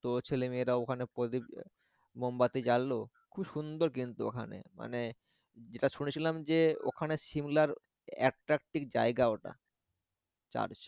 তো ছেলেমেয়েয়াও ওখানে প্রদীপ মোমবাতি জালালো খুব সুন্দর কিন্তু ওখানে মানে যেটা শুনেছিলাম যে ওখানে শিমলার একটা কি জায়গা ওটা Church